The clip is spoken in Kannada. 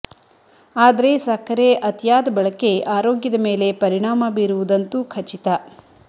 ಆದ್ರೆ ಸಕ್ಕರೆ ಅತಿಯಾದ ಬಳಕೆ ಆರೋಗ್ಯದ ಮೇಲೆ ಪರಿಣಾಮ ಬೀರುವುದಂತೂ ಖಚಿತ